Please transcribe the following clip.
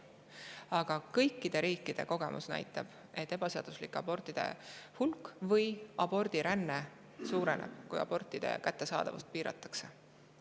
Aga kõikide riikide kogemus näitab, et ebaseaduslike abortide hulk või abordiränne suureneb, kui abortide kättesaadavust piiratakse.